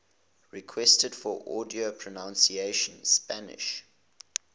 requests for audio pronunciation spanish